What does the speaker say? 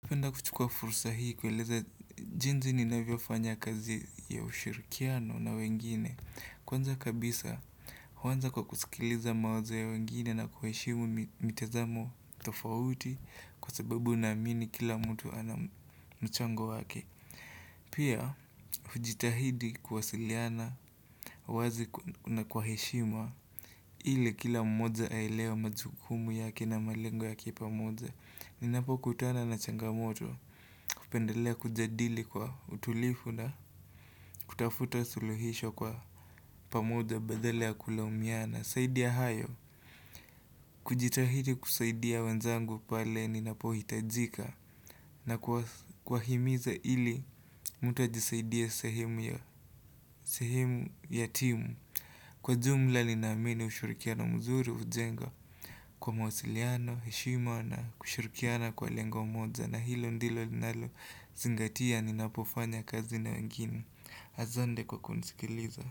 Penda kuchukua fursa hii kueleza jinsi ninavyofanya kazi ya ushirikiano na wengine Kwanza kabisa, huanza kwa kusikiliza mawazo ya wengine na kuheshimu mitazamo tofauti Kwa sababu unaamini kila mtu ana mchango wake Pia, hujitahidi kuwasiliana wazi na kwa heshima ile kila mmoja aelewe majukumu yake na malengo yake pamoja. Ninapokutana na changamoto, hupendelea kujadili kwa utulivu na, kutafuta suluhisho kwa pamoja badala ya kulaumiana. Zaidi ya hayo, kujitahidi kusaidia wenzangu pale ninapohitajika na kuwahimiza ili mtu ajisaidia sehemu ya sehimu ya timu Kwa jumla ninaamini ushurikiano mzuri ujenga kwa mawasiliano, heshima na kushirikiana kwa lengo moja na hilo ndilo linalo zingatia ni napofanya kazi na wengine. Asante kwa kunisikiliza.